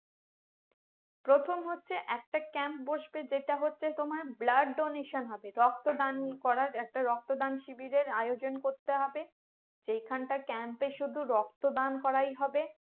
প্রথম হচ্ছে একটা Camp বসবে যেটা হচ্ছে তোমার blood donation হবে রক্ত দান করার একটা রক্ত দান শিবিরের আয়োজন করতে হবে যেখানটা Camp এ শুধু রক্ত দান করেই হবে